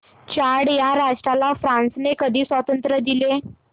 Chad या राष्ट्राला फ्रांसने कधी स्वातंत्र्य दिले